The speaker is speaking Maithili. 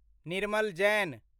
निर्मल जैन